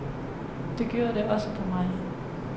Det gjorde det også på mig.